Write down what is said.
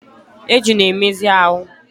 Eju na-emezi ahụ.